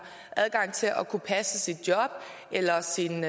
adgang til at kunne passe sit job eller sin